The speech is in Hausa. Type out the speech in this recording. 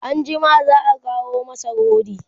anjima za'a kawo masa rodi